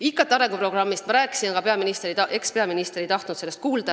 IKT arenguprogrammist ma rääkisin, aga ekspeaminister ei tahtnud seda kuulda.